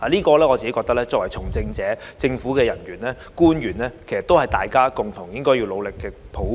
我認為，這是從政者、政府人員和官員應共同努力達成的抱負。